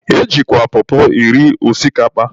E jikwa pọpọ eri osikapa.